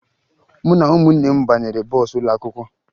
Mụ na ụmụnne m banyere bọọsụ ụlọakwụkwọ